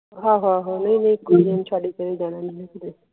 ਆਹੋ ਆਹੋ ਨਹੀਂ ਬਿਲਕੁਲ ਨਹੀਂ ਛੱਡ ਕੇ ਜਾਣਾ ਕਿਤੇ